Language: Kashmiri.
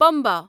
پمبا